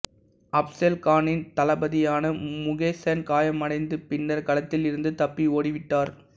அப்சல் கானின் தளபதியான முசேகன் காயமடைந்து பின்னர் களத்தில் இருந்து தப்பி ஓடிவிட்டார்